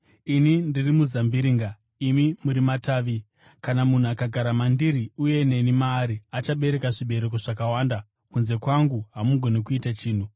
“Ini ndiri muzambiringa; imi muri matavi. Kana munhu akagara mandiri uye neni maari, achabereka zvibereko zvakawanda; kunze kwangu hamugoni kuita chinhu.